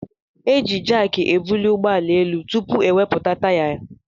Eji jaaki ebuli ụgbọala élú tụpụ ewepụta taya.